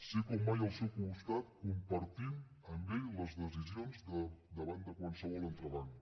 ser com mai al seu costat compartint amb ell les decisions davant de qualsevol entrebanc